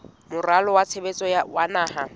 moralo wa tshebetso wa naha